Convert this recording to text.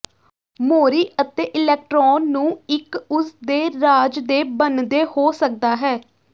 ਮੋਰੀ ਅਤੇ ਇਲੈਕਟ੍ਰੋਨ ਨੂੰ ਇੱਕ ਉਸਦੇ ਰਾਜ ਦੇ ਬਣਦੇ ਹੋ ਸਕਦਾ ਹੈ